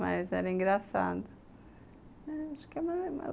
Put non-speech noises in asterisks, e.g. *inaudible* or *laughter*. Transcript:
Mas era engraçado *unintelligible*